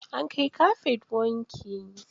An kai kafet wanki.